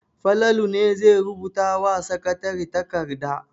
Falalu ne zai rubuta wa sakatare takarda.